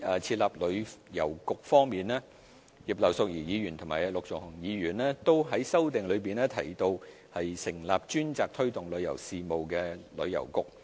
設立旅遊局葉劉淑儀議員和陸頌雄議員在修正案中提到成立專責推動旅遊事務的旅遊局。